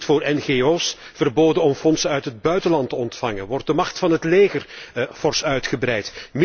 Nu is het voor ngo's verboden om fondsen uit het buitenland te ontvangen en wordt de macht van het leger fors uitgebreid.